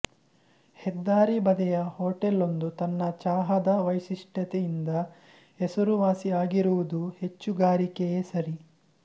ಹೆದ್ದಾರಿ ಬದಿಯ ಹೊಟೇಲೊಂದು ತನ್ನ ಚಹಾದ ವೈಶಿಷ್ಠತೆಯಿಂದ ಹೆಸರುವಾಸಿ ಆಗಿರುವುದು ಹೆಚ್ಚುಗಾರಿಕೆಯೇ ಸರಿ